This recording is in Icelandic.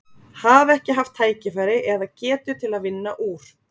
Hafa ekki haft tækifæri eða, eða getu til að vinna úr?